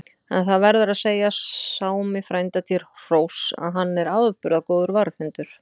En það verður að segja Sámi frænda til hróss, að hann er afburða góður varðhundur.